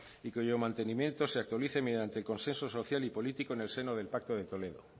y cuyo mantenimiento se actualice mediante consenso social y político en el seno del pacto de toledo